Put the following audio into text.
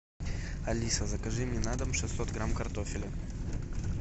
алиса закажи мне на дом шестьсот грамм картофеля